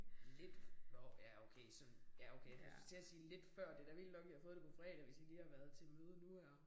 Lidt nåh ja okay så ja okay jeg skulle til at sige lidt før det da vildt nok I har fået det på fredag hvis I lige har været til møde nu her